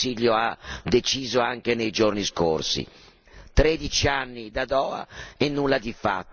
L'Europa è di serie B, visto quanto il Consiglio ha deciso anche nei giorni scorsi.